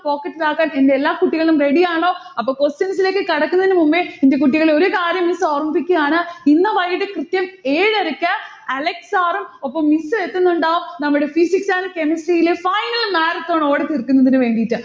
pocket ൽ ആക്കാൻ എന്റെ എല്ലാ കുട്ടികളും ready ആണോ? അപ്പൊ questions ലേക്ക് കടക്കുന്നതിനു മുന്നേ എന്റെ കുട്ടികള് ഒരു കാര്യം miss ഓർമ്മിപ്പിക്കയാണ്. ഇന്ന് വൈകിട്ട് കൃത്യം ഏഴരയ്ക്ക് അലക്സ് sir ഉം ഒപ്പം miss ഉം എത്തുന്നുണ്ടാവും. നമ്മടെ physics and chemistry ലെ final marathon ഓടിത്തീർക്കുന്നതിന് വേണ്ടിയിട്ട്.